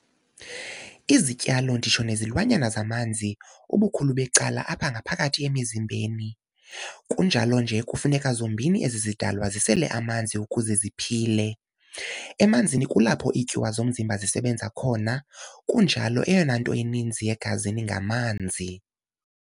Izityalo nditsho nezilwanyana zimanzi ubukhulu becala apha ngaphakathi emizimbeni, kunjalo nje kufuneka zombini ezi zidalwa zisele amanzi ukuze ziphile. Emanzini kulapho iityuwa zomzimba zisebenza khona, kunjalo eyonanto ininzi egazini ngamanzi.